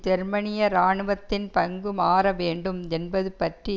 ஜெர்மனிய இராணுவத்தின் பங்கு மாற வேண்டும் என்பது பற்றி